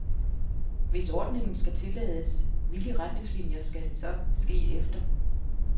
Hvis ordningen skal tillades, hvilke retningslinier skal det så ske efter.